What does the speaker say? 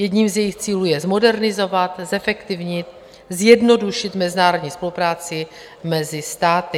Jedním z jejich cílů je zmodernizovat, zefektivnit, zjednodušit mezinárodní spolupráci mezi státy.